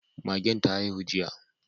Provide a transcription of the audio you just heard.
Magen ta haihu jiya